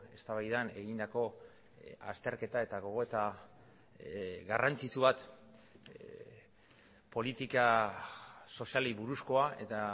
eztabaidan egindako azterketa eta gogoeta garrantzitsu bat politika sozialei buruzkoa eta